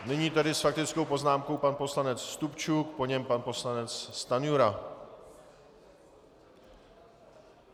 Nyní tedy s faktickou poznámkou pan poslanec Stupčuk, po něm pan poslanec Stanjura.